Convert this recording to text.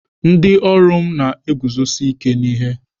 Ndị ọrụ m na-eguzosi ike n'ihe.